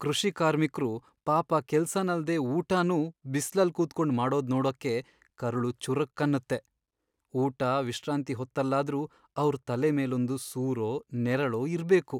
ಕೃಷಿಕಾರ್ಮಿಕ್ರು ಪಾಪ ಕೆಲ್ಸನಲ್ದೇ ಊಟನೂ ಬಿಸ್ಲಲ್ ಕೂತ್ಕೊಂಡ್ ಮಾಡೋದ್ನೋಡಕ್ಕೆ ಕರುಳು ಚುರುಕ್ ಅನ್ನತ್ತೆ. ಊಟ, ವಿಶ್ರಾಂತಿ ಹೊತ್ತಲ್ಲಾದ್ರೂ ಅವ್ರ್ ತಲೆ ಮೇಲೊಂದ್ ಸೂರೋ, ನೆರಳೋ ಇರ್ಬೇಕು.